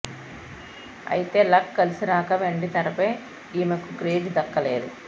అయితే లక్ కలిసి రాక వెండి తెరపై ఈమెకు క్రేజ్ దక్కలేదు